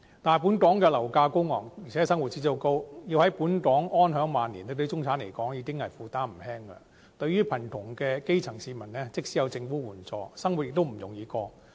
但是，本港的樓價高昂，而且生活指數高，要在本港安享晚年對中產而言已經負擔不輕，對於貧窮的基層市民而言，即使有政府援助，生活亦不容易過。